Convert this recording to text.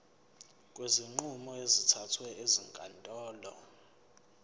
kwezinqumo ezithathwe ezinkantolo